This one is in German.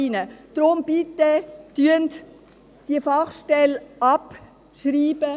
Deshalb bitte ich Sie, diese Fachstelle abzuschreiben.